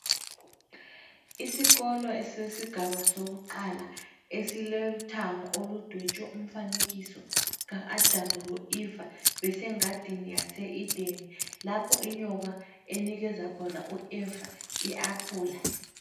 Isikolo esesigaba lakuqala esilithango oludwetshwe umfanekiso ka -Adamu loEva besengadini yase -Edeni Lapho inyoka enikeza khona u Eva i-aphula.